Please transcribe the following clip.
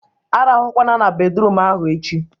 A rahụkwana na bedruum ahụ echi!